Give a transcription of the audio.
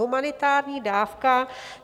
Humanitární dávka.